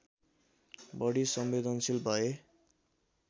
बढी संवेदनशील भए